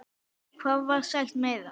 Hvað var sagt meira?